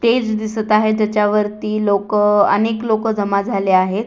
Stage दिसत आहे ज्याच्यावरती लोक अनेक लोक जमा झाले आहेत.